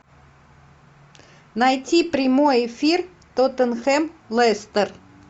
найти прямой эфир тоттенхэм лестер